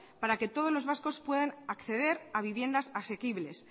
para que todos los vascos puedan acceder a viviendas asequibles